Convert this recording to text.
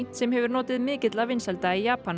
sem hefur notið mikilla vinsælda í Japan